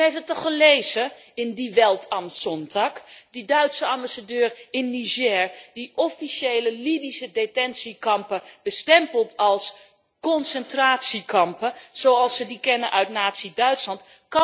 En u heeft het toch gelezen in Die Welt am Sonntag' over die Duitse ambassadeur in Niger die officiële Libische detentiekampen bestempelt als concentratiekampen zoals we die kennen uit nazi Duitsland?